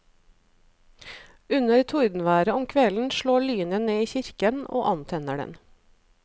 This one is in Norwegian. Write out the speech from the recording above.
Under tordenværet om kvelden slår lynet ned i kirken og antenner den.